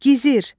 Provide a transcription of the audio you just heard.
Gizir.